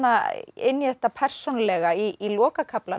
inn í þetta persónulega í lokakaflanum